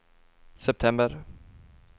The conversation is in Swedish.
september